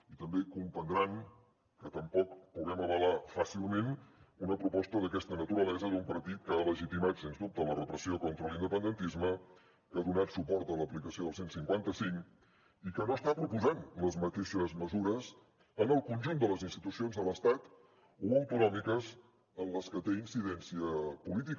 i també comprendran que tampoc puguem avalar fàcilment una proposta d’aquesta naturalesa d’un partit que ha legitimat sens dubte la repressió contra l’independentisme que ha donat suport a l’aplicació del cent i cinquanta cinc i que no està proposant les mateixes mesures en el conjunt de les institucions de l’estat o autonòmiques en les que té incidència política